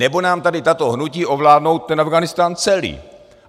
Nebo nám tady tato hnutí ovládnou ten Afghánistán celý.